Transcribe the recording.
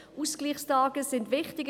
Ausgleichstage sind wichtig.